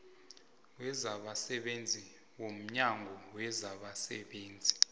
wezabasebenzi womnyango wezabasebenzi